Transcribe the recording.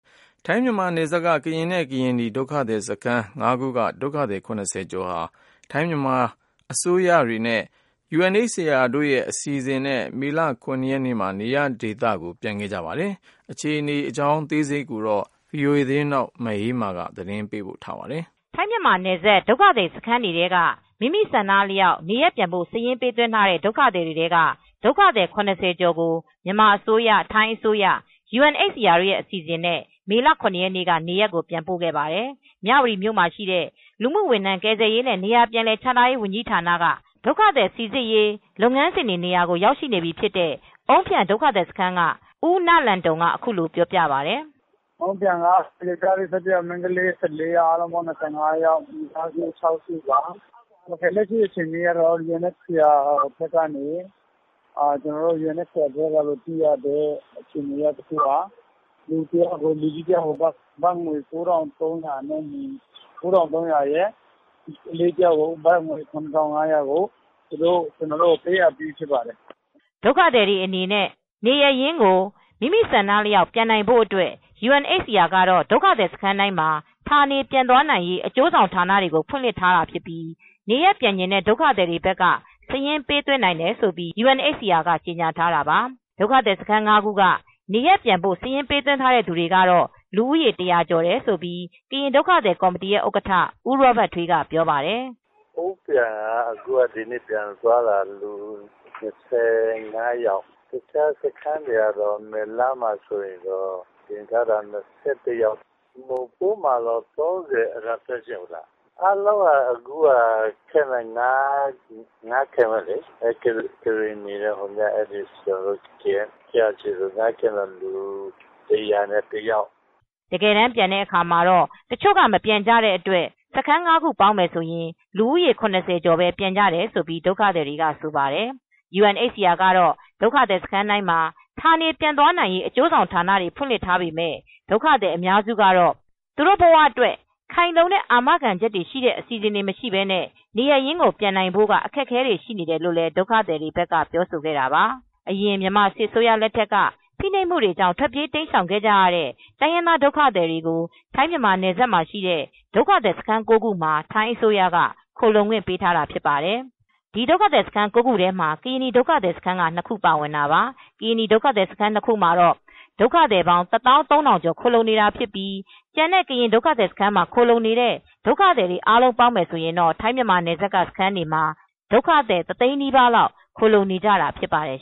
ထိုင်း-မြန်မာနယ်စပ်က ကရင်နဲ့ ကရင်နီဒုက္ခသည်စခန်း ၅ခုက ဒုက္ခသည် ၇၀ကျော်ဟာ မြန်မာ ထိုင်းအစိုးအရနဲ့ UNHCR အစီစဉ်နဲ့ မေလ ရ ရက်နေ့မှာနေရပ်ပြန်ခဲ့ကြပါတယ် ။ ထိုင်းအခြေစိုက် VOA သတင်းထောက် မအေးအေးမာကသတင်းပေးပို့ထားပါတယ်။ ထိုင်း-မြန်မာနယ်စပ်ဒုက္ခသည်စခန်းတွေထဲက မိမိဆန္ဒအလျောက်နေရပ်ပြန်ဖို့စာရင်းပေးသွင်းထားတဲ့ဒုက္ခသည်တွေထဲက ဒုက္ခသည်၇၀ကျော်ကို မြန်မာအစိုးရ ထိုင်းအစိုးရ UNHCR အစီစဉ် နဲ့ မေလ ရရက်နေ့က နေရပ်ကိုပြန်ပို့ခဲ့ပါတယ်။ မြဝတီမြို့မှာရှိတဲ့ လူမူဝန်ထမ်းကယ်ဆယ်ရေးနဲ့နေရာပြန်လည်ချထားရေးဝန်ကြီးဌာနကဒုက္ခသည် စီစစ်ရေးလုပ်ငန်းစဉ်တွေနေရာကိုရောက်ရှိနေပြီဖြစ်တဲ့ အုန်းဖြန်ဒုက္ခသည်စခန်းက ဦးနလန်တုံက အခုလို ပြောပါတယ်။ "အုန်းဖျန်က ယောင်္ကျားလေး ၁၁ယောက် မိန်းကလေး ၁၄ယောက် အားလုံး ၂၅ယောက် မိသားစု ၆စုပါ ကျနော်တို့ကို UNHCR ကနေ လူကြီးတယောက်ကို ဘတ်ငွေ ၉၃၀၀နဲ့ ကလေးတယောက်ကို ဘတ်ငွေ ၇၅၀၀ သူတို့က ကျနော်တို့ကို ပေးအပ်ပြီးဖြစ်ပါတယ်" ဒုက္ခသည်တွေအနေနဲ့ နေရပ်ရင်ကို မိမိဆန္ဒအလျောက်ပြန်နိုင်ဖို့အတွက် ယူအန်အိပ်စီအာကတော့ ဒုက္ခသည်စခန်းတိုင်း မှာ ဌာနေပြန်သွားနိုင်ရေး အကျိုးဆောင်ဌာနတွေကိုဖွင့်လှစ်ထားတာဖြစ်ပြီး နေရပ်ပြန်ချင်တဲ့ ဒုက္ခသည်တွေဘက်ကစာရင်းပေးသွင်းနိုင်တယ်လို့ယူအန်အိပ်စီအာကကြေညာထားတာပါ။ ဒုက္ခသည်စခန်း ၅ခုကနေရပ်ပြန်ဖို့စာရင်းပေးသွင်းထားခဲ့သူတွေကတော့ လူဦးရေ ၁၀၀ကျော်တယ်လို့ ကရင်ဒုက္ခသည်ကော်မတီဥက္ကဌ ဦးရောဘတ်ထွေးကပြောပါတယ် "အုန်းဖျန်က ပြန်တာ ၂၅ယောက်မယ်လမှာတော့ ၁၈ယောက် နိုဖိုးမှာတော့ ၃၀ကျော် အားလုံးက camp ၅ခုလေ ကရင်စခန်း ၃ခုနဲ့ကရင်နီစခန်း ၂ခုကနေ ပြန်တာ အားလုံး ၁၀၁ယောက်" တကယ်တမ်းပြန်တဲ့အခါမှာတော့တချိုကမပြန်ကြတော့တဲ့အတွက် စခန်း ၅ခုပေါင်းရင် လူဦးရေ ၇၀ကျော်ပဲပြန်ကြတယ် လို့လည်း ဒုက္ခသည်တွေကဆိုပါတယ် UNHCRကတော့ဒုက္ခသည်စခန်းတိုင်းမှာ ဌာနေပြန်သွားနိုင်ရေး အကျိုးဆောင်ဌာနတွေကိုဖွင့်လှစ်ထားပေမဲ့ ဒုက္ခသည်အများစုကတော့သူတို့ဘဝအတွက်ခိုင်လုံတဲ့အာမခံချက်ရှိတဲ့အစီစဉ်တွေ မရှိပဲနဲ့နေရပ်ရင်းပြန်နိုင်ဖိုကအခက်အခဲရှိနေတယ်လို့လည်း ဒုက္ခသည်တွေဘက်ကပြောဆိုခဲ့တာပါ။ အရင် မြန်မာစစ်အစိုးရလက်ထက်က ဖိနှိပ်မှုတွေကြောင့် ထွက်ပြေး တိမ်းရှောင်ခဲ့ကြရတဲ့ တိုင်းရင်းသားဒုက္ခသည်တွေကို ထိုင်း-မြန်မာနယ်စပ်မှာရှိတဲ့ ဒုက္ခသည်စခန်း ၉ ခုမှာ ထိုင်းအစိုးရက ခိုလှုံခွင့် ပေး ထားတာဖြစ်ပါတယ်။ဒီဒုက္ခစခန်း၉ခုထဲမှာ့ကရင်နီဒုက္ခသည်စခန်း ၂ခုပါဝင်တာပါ ကရင်နီဒုက္ခသည်စခန်း ၂ခုမှာတော့ ဒုက္ခသည်ပေါင်း ၁သောင်း ၃ထောင်ကျော်ခိုလှုံနေထိုင်နေတာဖြစ်ပြီးကျန်တဲ့ကရင်ဒုက္ခသည်စခန်းမှာခိုလံှုနေတဲ့ ဒုက္ခသည်တွေအားလုံးပေါင်းမယ်ဆိုရင်တော့ ထိုင်းမြန်မာနယ်စပ်က စခန်းတွေမှာ ဒုက္ခသည်တသိန်းနီးပါးလောက် ခိုလှုံနေထိုင်နေကြတာဖြစ်ပါတယ်